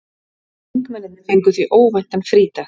Þingmennirnir fengu því óvæntan frídag